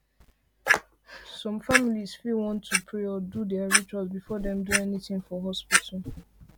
some families fit want to pray or do do their rituals before dem do anything for hospital